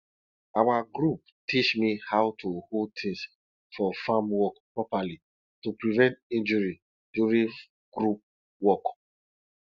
our group teach me how to hold things for farm work properly to prevent injuries during group work